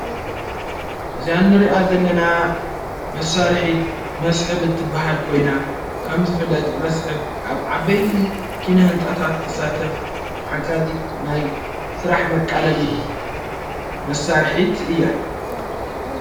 እዘያ ኒርኣ ዘለና መሣርሒት መስሕብ እትበሃልኮይና፤ ከም ዘፍለጥ መስሕብ ኣብ ዓበይቲ ኪነ ሕንጻታት ትሳተፍ ሓጋጺት ናይ ሥራሕ መቃለሊት መሣርኂት እያ።